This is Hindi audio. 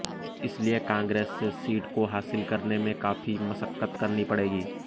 इसलिए कांग्रेस से सीट को हासिल करने में काफी मशक्कत करनी पड़ेगी